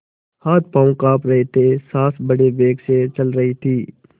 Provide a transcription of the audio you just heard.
हाथपॉँव कॉँप रहे थे सॉँस बड़े वेग से चल रही थी